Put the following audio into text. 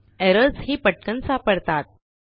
errors ही पटकन सापडतात